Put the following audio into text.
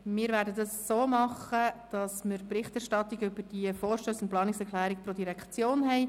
Wir werden die Berichterstattung über die Vorstösse und Planungserklärungen pro Direktion anschauen.